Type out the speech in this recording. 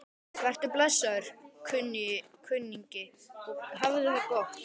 Vertu blessaður, kunningi, og hafðu það gott.